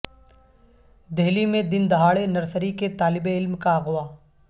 دہلی میں دن دہاڑے نرسری کے طالب علم کا اغوا